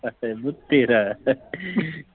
ਫਿਟੇ ਮੂੰਹ ਤੇਰਾ